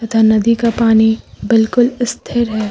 तथा नदी का पानी बिल्कुल स्थिर है।